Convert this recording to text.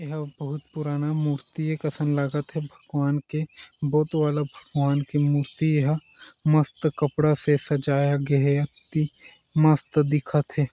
एहा बहुत पुराना मूर्ति हे कैसन लागत हे भगवान के बुद्ध वाला भगवान के मूर्ति हे ए ह मस्त कपड़ा से सजाया गया हे अति मस्त दिखत हे।